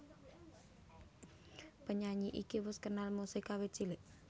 Penyanyi iki wus kenal musik kawit cilik